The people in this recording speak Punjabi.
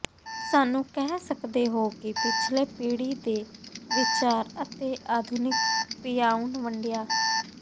ਸਾਨੂੰ ਕਹਿ ਸਕਦੇ ਹੋ ਕਿ ਪਿਛਲੇ ਪੀੜ੍ਹੀ ਦੇ ਵਿਚਾਰ ਅਤੇ ਆਧੁਨਿਕ ਪਿਆਉਣ ਵੰਡਿਆ